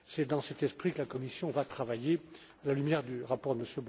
C'est dans cet esprit que la Commission va travailler, à la lumière du rapport de